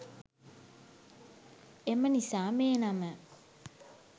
එම නිසා මේ නම